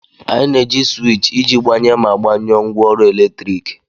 Anyị na-eji sịwịchị iji gbanye ma gbanyụọ ngwaọrụ eletrik